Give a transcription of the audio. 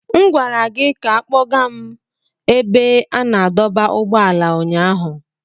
M gwara gị ka kpọga m n'ebe a na-adọba ụgbọala ụnyaahụ.